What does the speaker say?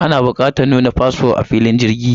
Ana bukatar nuna fasfo a filin jirgi kafin a shiga jirgi.